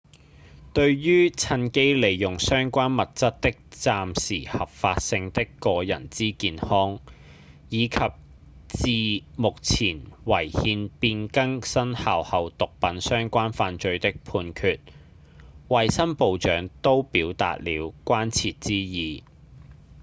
對於趁機利用相關物質的暫時合法性的個人之健康以及自目前違憲變更生效後毒品相關犯罪的判決衛生部長都表達了關切之意